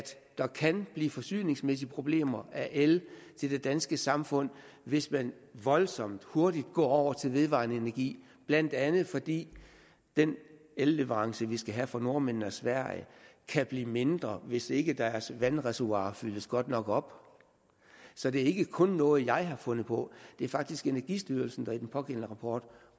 der kan blive forsyningsmæssige problemer af el til det danske samfund hvis man voldsomt hurtigt går over til vedvarende energi blandt andet fordi den elleverance vi skal have fra nordmændene og sverige kan blive mindre hvis ikke deres vandreservoirer fyldes godt nok op så det er ikke kun noget jeg har fundet på det er faktisk energistyrelsen der i den pågældende rapport